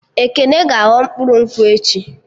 Ekene ga-aghọ mkpụrụ nkwụ echi